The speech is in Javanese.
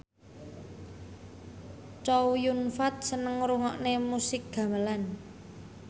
Chow Yun Fat seneng ngrungokne musik gamelan